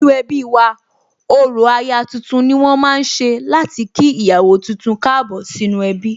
Nínú ẹbí wa, orò aya tuntun ni wón ma ń ṣe láti kí ìyàwó tuntun Káàbọ̀ sínú ẹbí